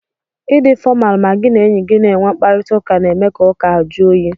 Ị dị fọmalu ma gị na enye gi na-enwe mkparịtaụka na-eme ka ụka ahụ juu oyi.